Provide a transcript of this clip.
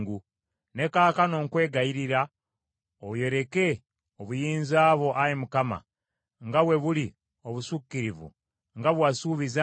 “Ne kaakano nkwegayirira oyoleke obuyinza bwo, Ayi Mukama nga bwe buli obusukkirivu nga bwe wasuubiza nti,